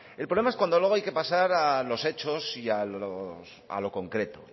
verdad el problema es cuando luego hay que pasar a los hechos y a lo concreto